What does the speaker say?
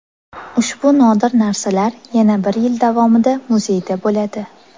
Ushbu nodir narsalar yana bir yil davomida muzeyda bo‘ladi.